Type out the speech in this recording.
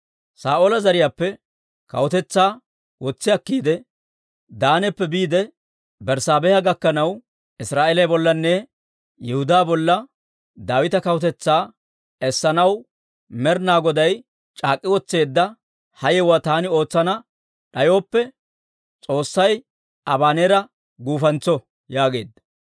Saa'oola zariyaappe kawutetsaa wotsi akkiide, Daanappe biide Berssaabeha gakkanaw, Israa'eeliyaa bollanne Yihudaa bolla, Daawita kawutetsaa essanaw Med'inaa Goday c'aak'k'i wotseedda ha yewuwaa taani ootsana d'ayooppe, s'oossay Abaneera guufantso» yaageedda.